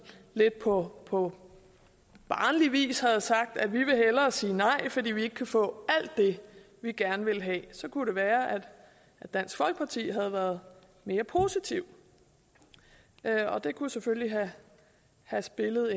lidt på på barnlig vis havde sagt at vi hellere ville sige nej fordi vi ikke kunne få alt det vi gerne ville have så kunne det være at dansk folkeparti havde været mere positiv og det kunne selvfølgelig have spillet